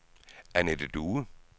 Annette Due